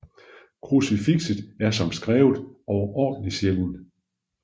Krucifikset er som skrevet overordentlig sjælden